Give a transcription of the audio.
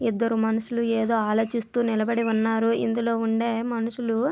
ఇద్దరు మనుషులు ఏదో ఆలోచిస్తూ నిలబడి ఉన్నారు ఇందిలో ఉండే మనుషులు --